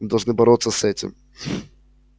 мы должны бороться с этим